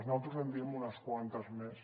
naltros en diem unes quantes més